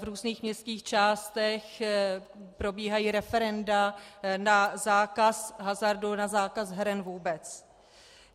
V různých městských částech probíhají referenda na zákaz hazardu, na zákaz heren vůbec.